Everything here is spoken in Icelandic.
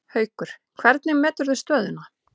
Haukur: Hvernig meturðu stöðuna?